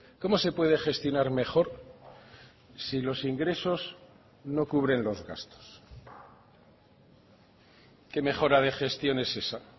cómo se puede gestionar mejor si los ingresos no cubren los gastos qué mejora de gestión es esa